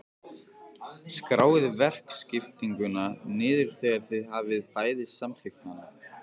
Skráið verkaskiptinguna niður þegar þið hafið bæði samþykkt hana.